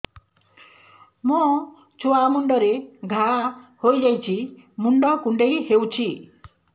ମୋ ଛୁଆ ମୁଣ୍ଡରେ ଘାଆ ହୋଇଯାଇଛି ମୁଣ୍ଡ କୁଣ୍ଡେଇ ହେଉଛି